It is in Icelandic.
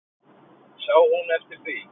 Sá hún eftir því?